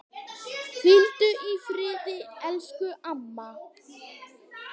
Hvíldu í friði, elsku amma.